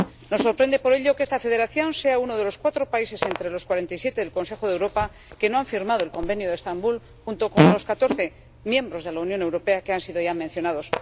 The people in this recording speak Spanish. Nos sorprende, por ello, que esta Federación sea uno de los cuatro países, entre los cuarenta y siete del Consejo de Europa, que no han firmado el Convenio de Estambul, junto con los catorce miembros de la Unión Europea que han sido ya mencionados.